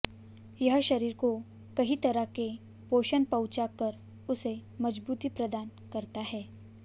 यह शरीर को कई तरह के पोषण पहुंचा कर उसे मजबूती प्रदान करता है